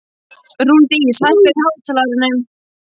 Rúndís, hækkaðu í hátalaranum.